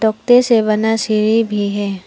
से बना सिरी भी है।